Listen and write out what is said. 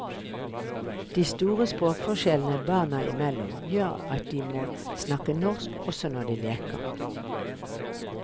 De store språkforskjellene barna imellom, gjør at de må snakke norsk også når de leker.